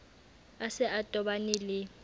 a se a tobane le